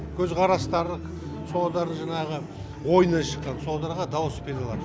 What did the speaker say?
көзқарастары содар жаңағы ойынан шыққан содарға дауыс бере алады